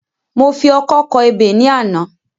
Mo fi ọkọ́ kọ ebè ní àná